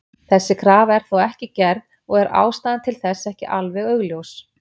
Þessi krafa er þó ekki gerð og er ástæðan til þess ekki alveg augljós.